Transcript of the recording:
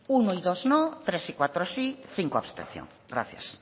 uno y dos no tres y cuatro sí cinco abstención gracias